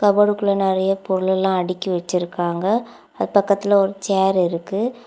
கபோடுக்குள்ள நெறய பொருலெல்லாம் அடுக்கி வச்சுருக்காங்க அது பக்கத்துல ஒரு சேர் இருக்கு.